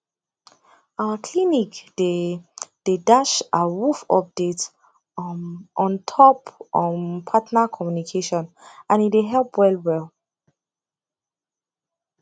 our clinic dey dey dash awoof update um ontop um partner communication and e dey help well well